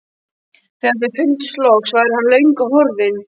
Þegar þau fyndust loks væri hann löngu horfinn.